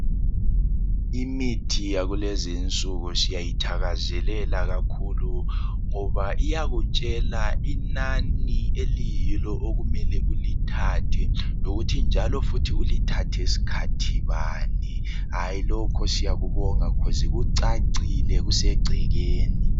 Imithi yakulezinsuku siyayithakazelela kakhulu ngoba iyakutshela inani okuyilo okumele ulithathe lokuthannjalo futhi ulithathe sikhathi bani. Lokho siyakubonga ngoba kucacile kusegcekeni.